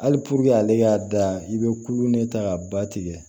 Hali ale y'a da i bɛ kulo ne ta ka ba tigɛ